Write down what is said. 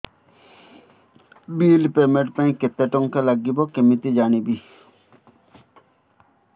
bill payment ପାଇଁ କେତେ କେତେ ଟଙ୍କା ଲାଗିବ କେମିତି ଜାଣିବି